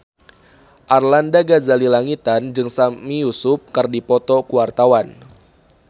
Arlanda Ghazali Langitan jeung Sami Yusuf keur dipoto ku wartawan